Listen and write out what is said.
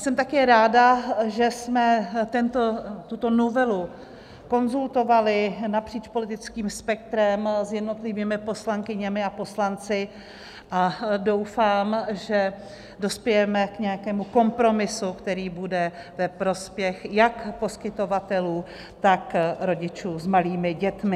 Jsem také ráda, že jsme tuto novelu konzultovali napříč politickým spektrem s jednotlivými poslankyněmi a poslanci, a doufám, že dospějeme k nějakému kompromisu, který bude ve prospěch jak poskytovatelů, tak rodičů s malými dětmi.